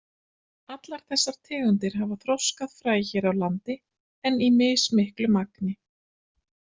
Allar þessar tegundir hafa þroskað fræ hér á landi en í mismiklu magni.